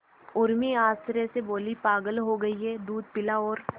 उर्मी आश्चर्य से बोली पागल हो गई है दूध पिला और